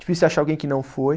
Difícil achar alguém que não foi.